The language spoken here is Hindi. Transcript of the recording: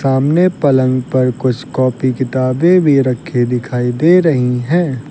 सामने पलंग पर कुछ कॉपी किताबें भी रखी दिखाई दे रही है।